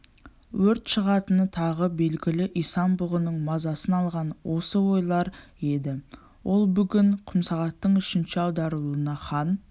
өрт шығатыны тағы белгілі исан-бұғының мазасын алған осы ойлар еді ол бүгін құмсағаттың үшінші аударылуына хан